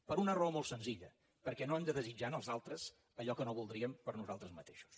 per una raó molt senzilla perquè no hem de desitjar als altres allò que no voldríem per a nosaltres mateixos